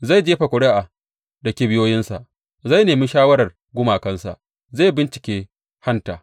Zai jefa ƙuri’a da kibiyoyinsa, zai nemi shawarar gumakansa, zai bincike hanta.